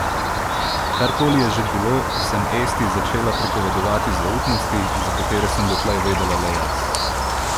Kar koli je že bilo, sem Esti začela pripovedovati zaupnosti, za katere sem dotlej vedela le jaz.